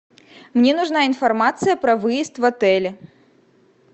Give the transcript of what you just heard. мне нужна информация про выезд в отеле